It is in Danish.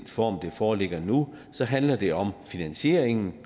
form det foreligger nu handler det om finansieringen